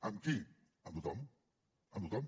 amb qui amb tothom amb tothom